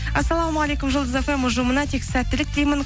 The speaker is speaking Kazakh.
ассалаумағалейкум жұлдыз фм ұжымына тек сәттілік тілеймін